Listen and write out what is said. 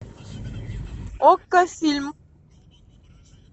окко фильм